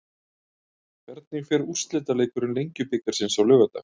Hvernig fer úrslitaleikur Lengjubikarsins á laugardag?